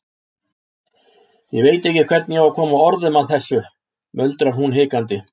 Ég veit ekki hvernig ég á að koma orðum að þessu, muldrar hún hikandi.